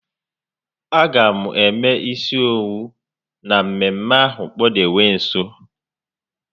A ga m eme isi owu na mmemme ahụ kpudewe nso